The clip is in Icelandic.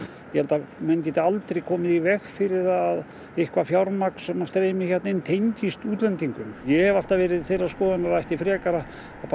ég held að menn geti aldrei komið í veg fyrir það að eitthvað fjármagn sem streymi hérna inn tengist útlendingum ég hef alltaf verið þeirrar skoðunar að frekar